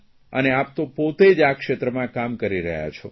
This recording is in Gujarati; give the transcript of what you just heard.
અને આપ તો પોતે જ આ ક્ષેત્રમાં કામ કરી રહ્યા છો